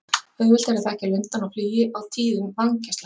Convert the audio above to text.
Auðvelt er að þekkja lundann á flugi á tíðum vængjaslætti.